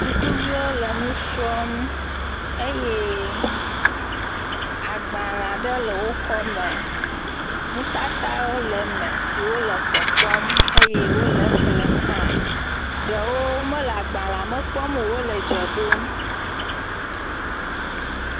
Sukuviwo le nusrɔm eye agbalẽ aɖe le eƒe akɔme, nutatawo le eme siwo le kpɔkpɔm eye wòle xlẽm hã. Ɖewo me le agbalẽ kpɔm o. Wòle dze ɖom.